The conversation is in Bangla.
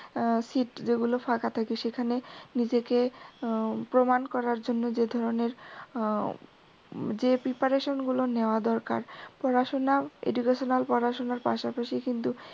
আহ seat যেগুলো ফাঁকা থাকে এখানে নিজেকে প্রমান করার জন্য যে ধরনের হম যে preparation গুলো নেওয়া দরকার পড়াশুনা educational পড়াশুনার পাশাপাশি কিন্তু